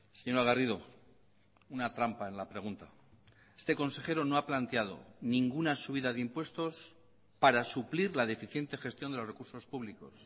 señora garrido una trampa en la pregunta este consejero no ha planteado ninguna subida de impuestos para suplir la deficiente gestión de los recursos públicos